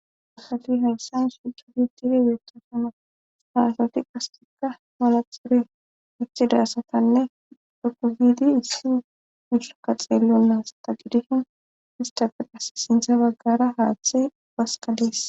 Afati hayssan shuku diitiri geeta fano haasati qasetika malaxuri itidaasatanne dokuzidi issi mushusaka xeellon naas ta gidishin hista firas sintha baggara haaththay waskadees.